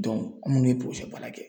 an minnu bɛ baara kɛ